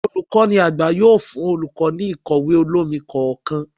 Olukọni àgbá yóò fún olukọ, ní ikọwe olomí kọọkan